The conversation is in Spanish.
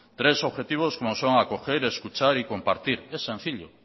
tres objetivos como son acoger escuchar y compartir es sencillo